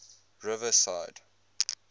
riverside